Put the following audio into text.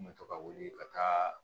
N bɛ to ka wuli ka taa